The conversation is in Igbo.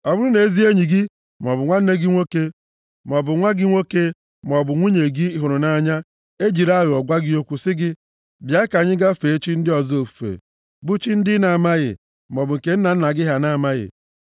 Ọ bụrụ na ezi enyi gị maọbụ nwanne gị nwoke maọbụ nwa gị nwoke maọbụ nwunye gị ị hụrụ nʼanya ejiri aghụghọ gwa gị okwu sị gị, “Bịa ka anyị gaa fee chi ndị ọzọ ofufe” (bụ chi ndị ị na-amaghị maọbụ nke nna gị ha na-amaghị,